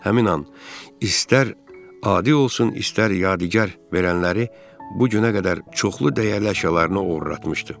Həmin an istər adi olsun, istər yadigar verənləri bu günə qədər çoxlu dəyərli əşyalarını oğurlatmışdı.